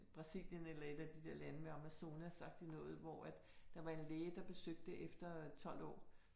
Brasilien eller et af de der lande ved Amazonas agtig noget, hvor at der var en læge, der besøgte det efter 12 år